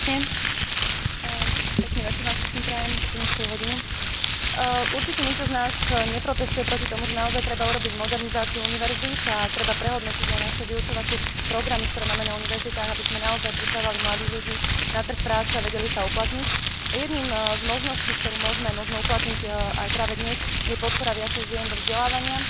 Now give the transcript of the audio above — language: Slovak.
Určite nikto z nás neprotestuje proti tomu, že naozaj treba urobiť modernizáciu univerzít a treba prehodnotiť aj naše vyučovacie programy, ktoré máme na univerzitách, aby sme naozaj pripravovali mladých ľudí na trh práce a títo sa vedeli uplatniť, a jednou z možností, ktorú môžeme možno uplatniť aj práve dnes, je podpora viacej žien do vzdelávania, keďže vieme, že 60 ľudí, ktorí končia vysokoškolské vzdelanie, sú práve ženy.